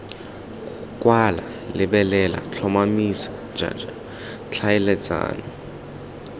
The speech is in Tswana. kwala lebelela tlhotlhomisa jj tlhaeletsano